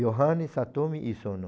Yohane, Satomi e Sono.